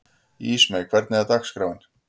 Ísmey, hvernig er dagskráin?